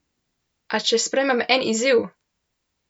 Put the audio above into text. A če sprejmem en izziv?